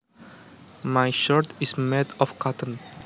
My shirt is made of cotton